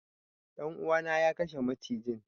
Dan uwa na ya kashe macijin.